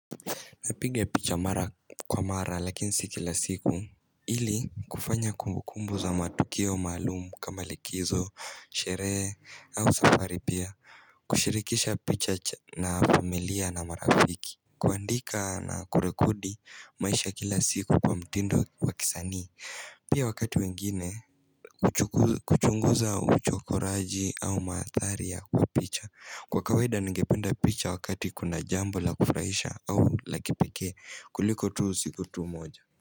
Napiga picha mara kwa mara lakini si kila siku ili kufanya kumbukumbu za matukio maalum kama likizo, sherehe au safari pia kushirikisha picha na familia na marafiki. Kuandika na kurekodi maisha kila siku kwa mtindo wa kisanii, pia wakati mwengine kuchunguza uchokoraji au mandhari ya kwa picha. Kwa kawaida ningependa picha wakati kuna jambo la kufurahisha au la kipekee kuliko tu siku tu moja.